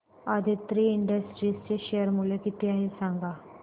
Aditri industries चे share मूल्य किती आहे सांगा